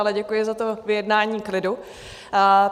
Ale děkuji za to vyjednání klidu.